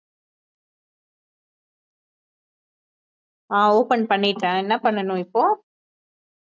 ஆஹ் open பன்னிட்டேன், என்ன பன்னனும் இப்போ